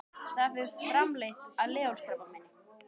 Þar fer fram leit að leghálskrabbameini.